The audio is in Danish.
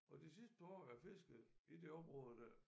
Og de sidste par år jeg fiskede i det område der